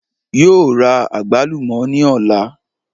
Yóò ra àgbálùmò ní òla